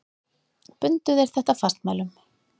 Bundu þeir þetta fastmælum.